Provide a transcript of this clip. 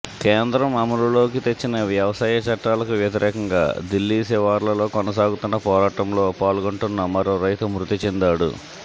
కేంద్రం అమలులోకి తెచ్చిన వ్యవసాయ చట్టాలకు వ్యతిరేకంగా దిల్లీ శివార్లలో కొనసాగుతున్న పోరాటంలో పాల్గొంటున్న మరో రైతు మృతి చెందాడు